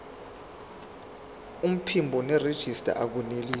iphimbo nerejista akunelisi